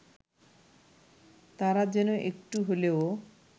তারা যেন একটু হলেও